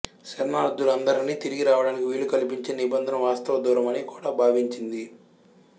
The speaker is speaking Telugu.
శరణార్థులందరినీ తిరిగి రావడానికి వీలు కల్పించే నిబంధన వాస్తవ దూరమని కూడా భావించింది